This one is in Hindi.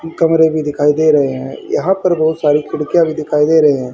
कमरें भी दिखाई दे रहें हैं यहां पर बहुत सारी खिड़कीयाँ भी दिखाई दे रही हैं।